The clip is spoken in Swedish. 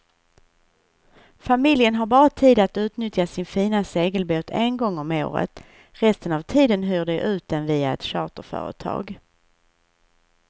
Familjen har bara tid att utnyttja sin fina segelbåt en gång om året, resten av tiden hyr de ut den via ett charterföretag.